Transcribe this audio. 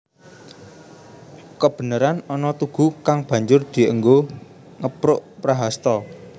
Kebeneran ana tugu kang banjur dienggo ngepruk Prahasta